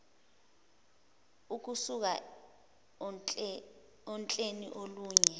ukusuka ohleni olunye